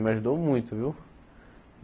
Me ajudou muito, viu?